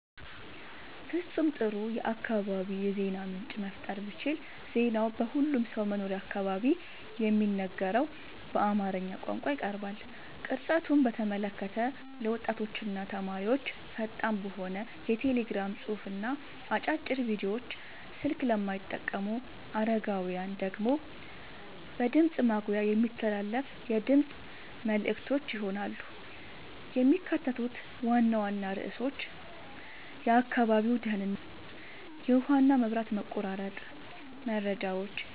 ፍጹም ጥሩ የአካባቢ የዜና ምንጭ መፍጠር ብችል ዜናው በሁሉም ሰው መኖሪያ አካባቢ በሚነገረው በአማርኛ ቋንቋ ይቀርባል። ቅርጸቱን በተመለከተ ለወጣቶችና ተማሪዎች ፈጣን በሆነ የቴሌግራም ጽሑፍና አጫጭር ቪዲዮዎች፣ ስልክ ለማይጠቀሙ አረጋውያን ደግሞ በድምፅ ማጉያ የሚተላለፉ የድምፅ መልዕክቶች ይሆናሉ። የሚካተቱት ዋና ዋና ርዕሶች የአካባቢው ደህንነት፣ የውሃና መብራት መቆራረጥ መረጃዎች፣